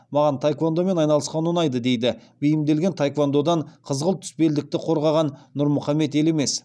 маған таеквондомен айналысқан ұнайды дейді бейімделген таеквондодан қызғылт түс белдікті қорғаған нұрмұхаммед елемес